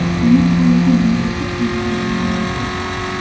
Uning javobi menga ko‘p narsani oydinlashtirdi.